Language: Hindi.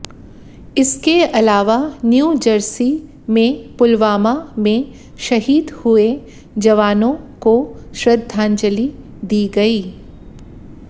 इसके अलावा न्यू जर्सी में पुलवामा में शहीद हुए जवानों को श्रद्धांजलि दी गई